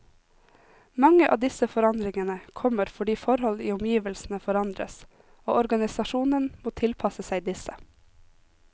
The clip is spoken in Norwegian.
Mange av disse forandringene kommer fordi forhold i omgivelsene forandres, og organisasjonen må tilpasse seg disse.